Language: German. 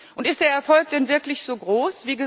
Und ist der Erfolg denn wirklich so groß?